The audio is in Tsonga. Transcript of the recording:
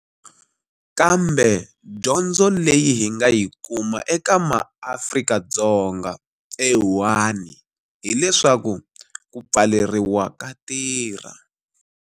Kambe dyondzo leyi hi nga yi kuma eka MaAfrika-Dzonga eWuhan hileswaku ku pfaleriwa ka tirha.